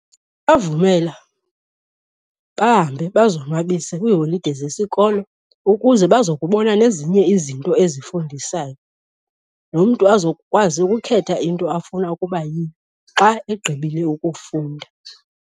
Bavumela bahambe bazonwabise kwiiholide zesikolo ukuze bazokubona nezinye izinto ezifundisayo nomntu azokwazi ukukhetha into afuna ukuba yiyo xa egqibile ukufunda.